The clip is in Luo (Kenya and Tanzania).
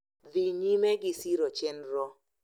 Dhi nyime gi siro chenrono,